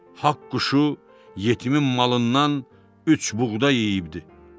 Haqq quşu yetimin malından üç buğda yeyibdir.